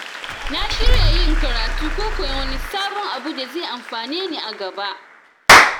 Na shirya yin karatu ko koyon wani sabon abu da zai amfane ni a gaba.